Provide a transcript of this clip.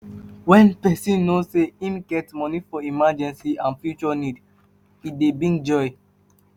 When person know sey im get money for emergency and and future needs, e dey give joy